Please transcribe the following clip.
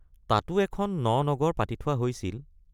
তাতো এখন ন নগৰ পাতি থোৱা হৈছিল।